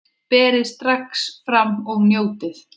Berið strax fram og njótið!